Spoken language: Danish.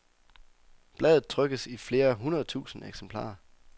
Bladet trykkes i flere hundrede tusinde eksemplarer.